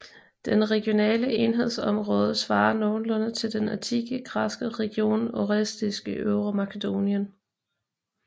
Den regionale enhedsområde svarer nogenlunde til den antikke græske region Orestis i Øvre Makedonien